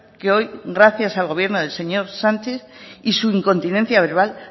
que hoy gracias al gobierno del señor sánchez y su incontinencia verbal